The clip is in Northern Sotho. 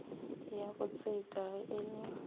ya botseta ge e le